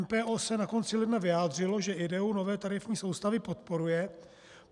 MPO se na konci ledna vyjádřilo, že ideu nové tarifní soustavy podporuje.